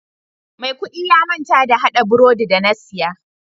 Mai kudi ya manta da hada brodi da na saya.